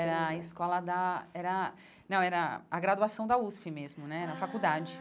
Era a escola da... Era não, era a graduação da USP mesmo né, na faculdade.